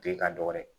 Ke ka dɔ wɛrɛ